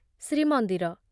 Srimandir